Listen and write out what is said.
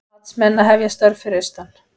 Matsmenn að hefja störf fyrir austan